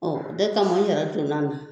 Ɔ de kama n yɛrɛ donn'a na